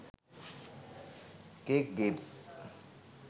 cake games